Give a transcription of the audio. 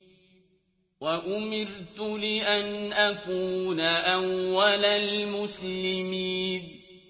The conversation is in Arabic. وَأُمِرْتُ لِأَنْ أَكُونَ أَوَّلَ الْمُسْلِمِينَ